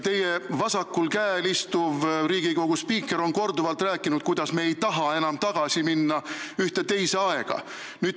Teie vasakul käel istuv Riigikogu spiiker on korduvalt rääkinud, et me ei taha enam tagasi minna ühte teise aega.